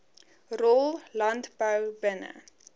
rol landbou binne